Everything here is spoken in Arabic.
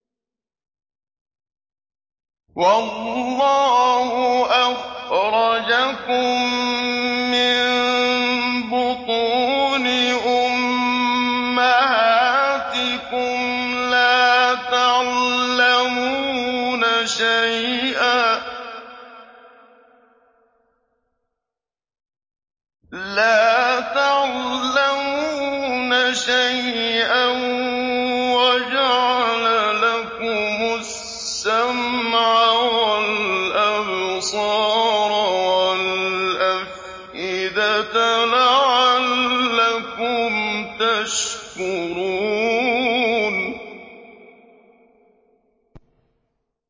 وَاللَّهُ أَخْرَجَكُم مِّن بُطُونِ أُمَّهَاتِكُمْ لَا تَعْلَمُونَ شَيْئًا وَجَعَلَ لَكُمُ السَّمْعَ وَالْأَبْصَارَ وَالْأَفْئِدَةَ ۙ لَعَلَّكُمْ تَشْكُرُونَ